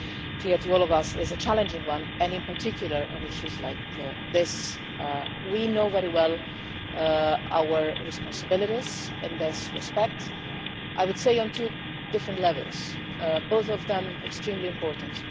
clear to all of us, is a challenging one and in particular on issues like this. We are well aware of our responsibilities in this respect, I would say on two different levels, both of them extremely important.